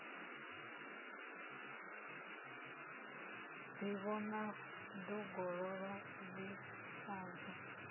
ḓivhona ḓongololo ḽi sa bvi